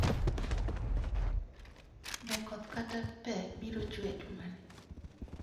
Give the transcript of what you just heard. Be koth kata pe biro chue e jumani?